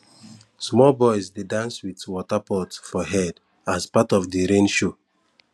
small boys dey dance with water pot for head as part of the rain show